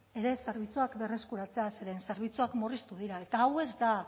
ere zerbitzuak berreskuratzea zeren zerbitzuak murriztu dira eta hau ez da